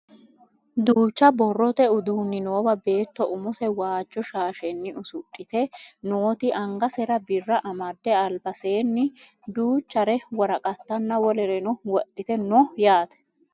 Duucha borrote uduunni noowa beetto umose waajjo shaashenni usudhite nooti angasera birra amadde albasenni duuchare woraqattanna wolereno wodhite no yaate